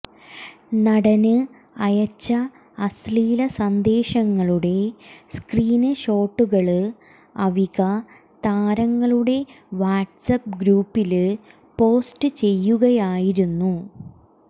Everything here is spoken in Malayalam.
നടന് അയച്ച അശ്ലീല സന്ദേശങ്ങളുടെ സ്ക്രീന് ഷോട്ടുകള് അവിക താരങ്ങളുടെ വാട്സ്ആപ്പ് ഗ്രൂപ്പില് പോസ്റ്റ് ചെയ്യുകയായിരുന്നു